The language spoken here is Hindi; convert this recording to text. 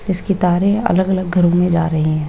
इसके तारे अलग अलग घरों में जा रही हैं।